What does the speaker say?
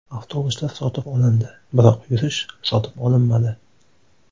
Avtobuslar sotib olindi, biroq yurish sotib olinmadi.